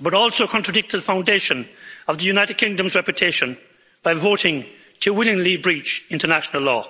but also contradict the foundation of the United Kingdom's reputation by voting to willingly breach international law.